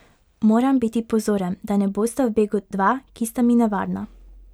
Moram biti pozoren, da ne bosta v begu dva, ki sta mi nevarna.